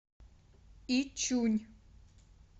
ичунь